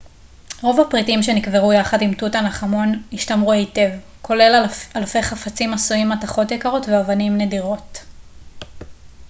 רוב הפריטים שנקברו יחד עם תות ענח' אמון השתמרו היטב כולל אלפי חפצים עשויים מתכות יקרות ואבנים נדירות